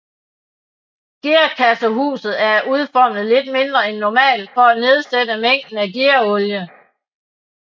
Gearkassehuset er udformet lidt mindre end normalt for at nedsætte mængden af gearolie